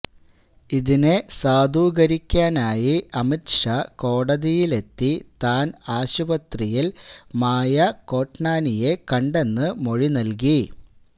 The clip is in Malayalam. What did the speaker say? ഇതിനെ സാധൂകരിക്കാനായി അമിത് ഷാ കോടതിയിലെത്തി താൻ ആശുപത്രിയിൽ മായാ കോട്നാനിയെ കണ്ടെന്ന് മൊഴി നൽകി